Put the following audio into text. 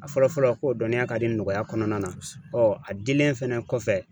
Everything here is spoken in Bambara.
A fɔlɔ fɔlɔ ko dɔnniya ka di nɔgɔya kɔnɔna na a dilen fɛnɛ kɔfɛ